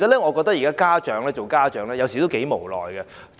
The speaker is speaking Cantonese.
我認為現在做家長頗為無奈。